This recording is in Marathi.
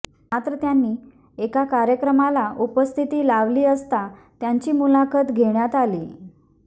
मात्र त्यांनी एका कार्यक्रमाला उपस्थितीत लावली असता त्यांची मुलाखत घेण्यात आली